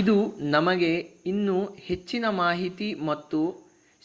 ಇದು ನಮಗೆ ಇನ್ನೂ ಹೆಚ್ಚಿನ ಮಾಹಿತಿ ಮತ್ತು